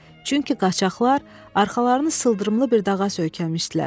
Çünki qaçaqlar arxalarını sıldırımlı bir dağa söykəmişdilər.